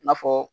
I n'a fɔ